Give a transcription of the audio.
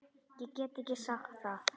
Ég get ekki sagt það.